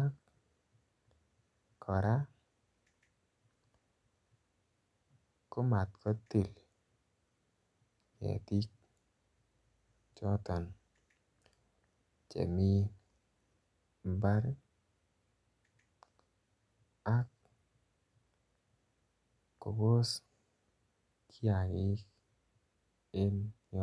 ak kora ko mat kotil ketik choton Che mi mbar ak kobos kiagik en yoton